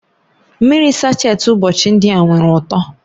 Mmiri sacheti ụbọchị ndị a nwere uto